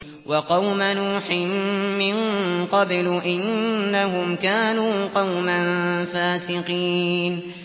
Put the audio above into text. وَقَوْمَ نُوحٍ مِّن قَبْلُ ۖ إِنَّهُمْ كَانُوا قَوْمًا فَاسِقِينَ